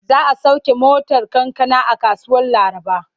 Za a sauke motar kankana a kasuwar Laraba.